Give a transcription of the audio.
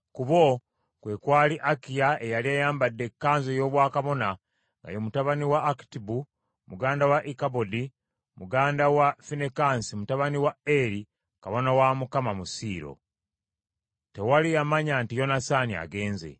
ku bo kwe kwali Akiya eyali ayambadde ekkanzu ey’obwakabona nga ye mutabani wa Akitubu, muganda wa Ikabodi, mutabani wa Finekaasi, mutabani wa Eri, kabona wa Mukama mu Siiro. Tewali yamanya nti Yonasaani agenze.